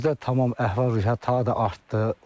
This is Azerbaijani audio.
Bizdə tamam əhval-ruhiyyə ta da artdı.